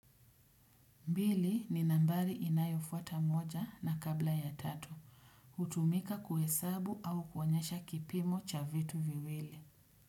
Mbili ni nambari inayofuata moja na kabla ya tatu. Hutumika kuhesabu au kuonyesha kipimo cha vitu viwili.